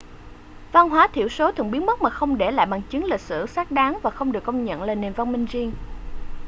văn hóa thiểu số thường biến mất mà không để lại bằng chứng lịch sử xác đáng và không được công nhận là nền văn minh riêng